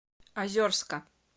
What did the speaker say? озерска